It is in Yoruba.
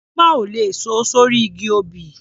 Àgbọn ò lè so sórí igi obì